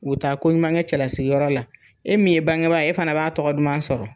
U taa ko ɲuman kɛ cɛlasigiyɔrɔ la, e min ye bangebaa e fana b'a tɔgɔ duman sɔrɔ.